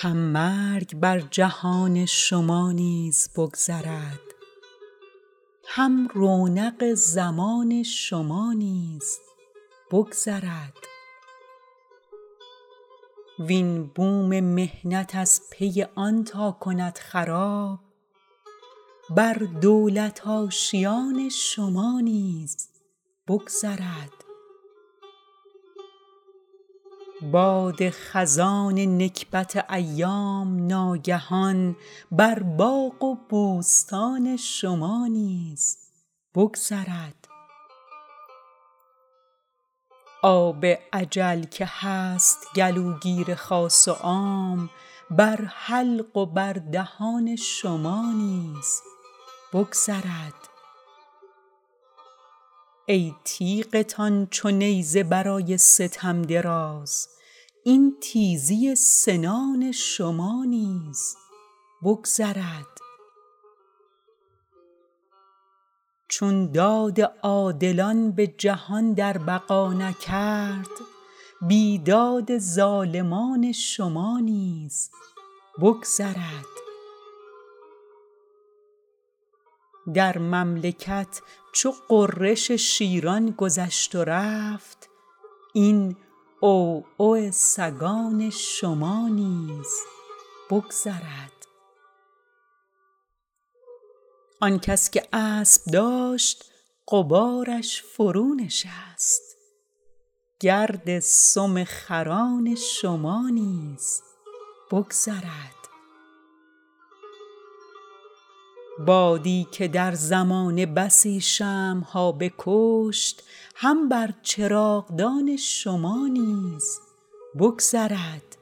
هم مرگ بر جهان شما نیز بگذرد هم رونق زمان شما نیز بگذرد وین بوم محنت از پی آن تا کند خراب بر دولت آشیان شما نیز بگذرد باد خزان نکبت ایام ناگهان بر باغ و بوستان شما نیز بگذرد آب اجل که هست گلوگیر خاص و عام بر حلق و بر دهان شما نیز بگذرد ای تیغتان چو نیزه برای ستم دراز این تیزی سنان شما نیز بگذرد چون داد عادلان به جهان در بقا نکرد بیداد ظالمان شما نیز بگذرد در مملکت چو غرش شیران گذشت و رفت این عوعو سگان شما نیز بگذرد آن کس که اسب داشت غبارش فرونشست گرد سم خران شما نیز بگذرد بادی که در زمانه بسی شمع ها بکشت هم بر چراغدان شما نیز بگذرد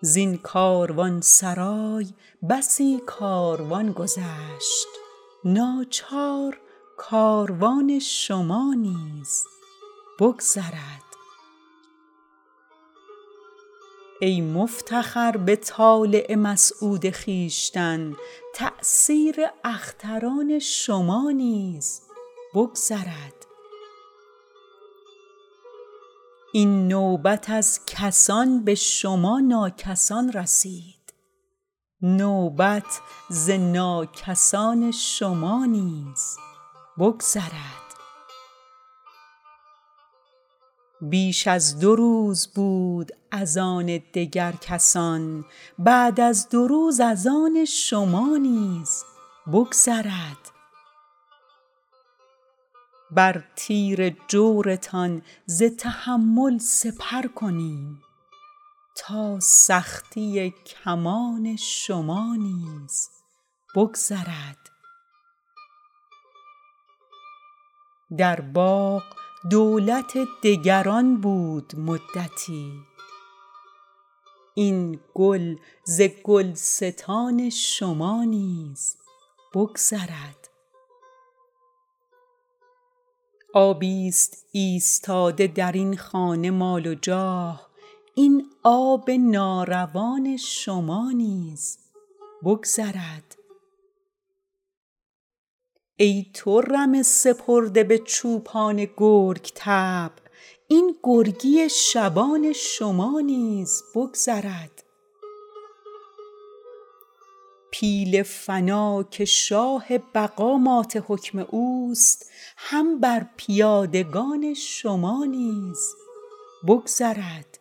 زین کاروانسرای بسی کاروان گذشت ناچار کاروان شما نیز بگذرد ای مفتخر به طالع مسعود خویشتن تأثیر اختران شما نیز بگذرد این نوبت از کسان به شما ناکسان رسید نوبت ز ناکسان شما نیز بگذرد بیش از دو روز بود از آن دگر کسان بعد از دو روز از آن شما نیز بگذرد بر تیر جورتان ز تحمل سپر کنیم تا سختی کمان شما نیز بگذرد در باغ دولت دگران بود مدتی این گل ز گلستان شما نیز بگذرد آبی ست ایستاده درین خانه مال و جاه این آب ناروان شما نیز بگذرد ای تو رمه سپرده به چوپان گرگ طبع این گرگی شبان شما نیز بگذرد پیل فنا که شاه بقا مات حکم اوست هم بر پیادگان شما نیز بگذرد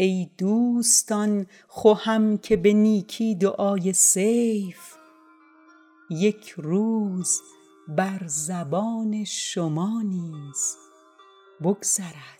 ای دوستان خوهم که به نیکی دعای سیف یک روز بر زبان شما نیز بگذرد